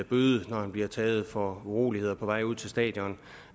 bøde når han bliver taget for uroligheder på vej ud til stadion